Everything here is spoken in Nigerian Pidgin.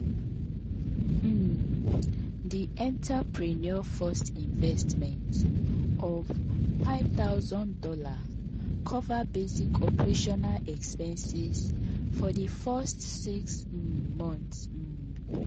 um di entrepreneur first investment of five thousand dollars cover basic operational expenses for di first six um monts. um